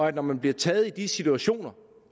det når man bliver taget i de situationer